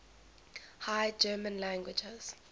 high german languages